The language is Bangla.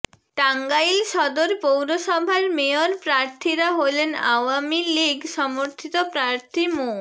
টাঙ্গাইল সদর পৌর সভার মেয়র প্রার্থীরা হলেন আওয়ামী লীগ সমর্থিত প্রার্থী মো